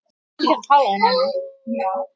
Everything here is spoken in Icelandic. Þetta voru eignir föður míns.